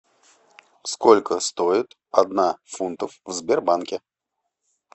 сколько стоит одна фунтов в сбербанке